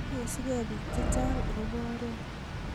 igesugei biik chechang agoba oret